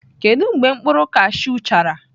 Kedu mgbe mkpụrụ kashụ chara?